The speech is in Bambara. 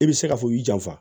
I bɛ se k'a fɔ u y'i janfa